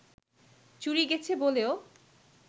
চুরি গেছে বলেও